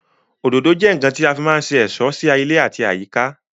Òdòdó jẹ́ ǹǹkan tí a má ń fí se ẹ̀ṣọ́ sí ilé àti àyíká